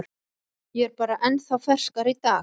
Ég er bara ennþá ferskari í dag.